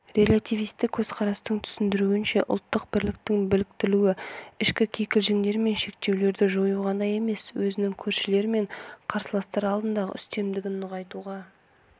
релятивистік көзқарастың түсіндіруінше ұлттық бірліктің бекітілуі ішкі кикілжіңдер мен шектеулерді жою ғана емес өзінің көршілер мен қарсыластар алдындағы үстемдігін нығайтуға